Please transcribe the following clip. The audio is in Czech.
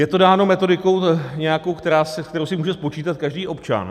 Je to dáno metodikou nějakou, kterou si může spočítat každý občan.